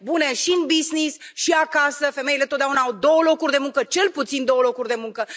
Bune și în business și acasă, femeile totdeauna au două locuri de muncă, cel puțin două locuri de muncă.